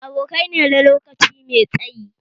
Abokai ne na lokaci mai tsayi